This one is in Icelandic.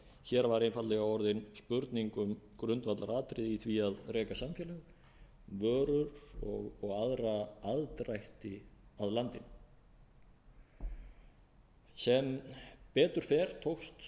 hér var einfaldlega orðin spurning um grundvallaratriði í því að reka samfélag vörur og aðra aðdrætti að landinu sem betur fer taka með